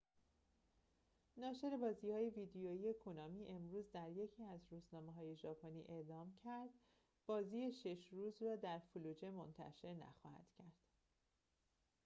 ناشر بازی‌های ویدئویی کونامی امروز در یکی از روزنامه‌های ژاپنی عنوان کرد که بازی شش روز را در فلوجه منتشر نخواهند کرد